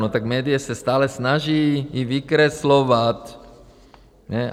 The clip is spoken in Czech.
No, tak média se stále snaží ji vykreslovat.